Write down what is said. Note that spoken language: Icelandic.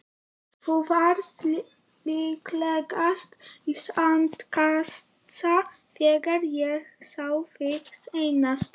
Þú varst líklegast í sandkassa þegar ég sá þig seinast.